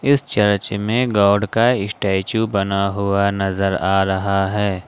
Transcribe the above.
इस चर्च में गॉड का स्टेच्यू बना हुआ नजर आ रहा है।